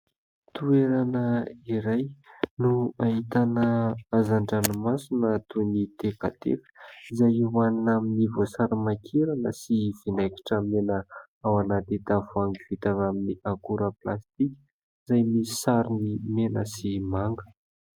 Toerana iray no ahitana hazan-dranomasina toy ny tekateka izay ho anina amin'ny voasary makirana sy vinaigitra mena ao anaty tavoahangy vita amin'ny akora plastika izay misy sarony mena sy manga.